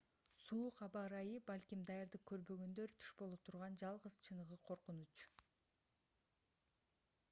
суук аба ырайы балким даярдык көрбөгөндөр туш боло турган жалгыз чыныгы коркунуч